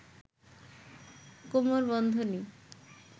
কোমর বন্ধনী